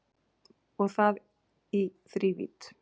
Og það í þrívídd